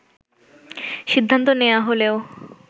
সিদ্ধান্ত নেয়া হলেও